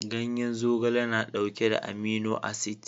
Ganyen zogale na dauke da amino acid